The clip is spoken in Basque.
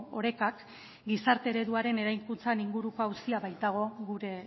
orekak gizarte ereduaren eraikuntzan inguruko auzia baitago gure